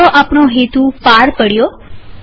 ચાલો આપણો હેતુ પાર પડ્યો